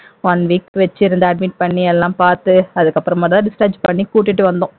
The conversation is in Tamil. one week admit பண்ணி எல்லாம் பார்த்து அதுக்கு அப்புறமாதான் discharge பண்ணி கூட்டிட்டு வந்தோம்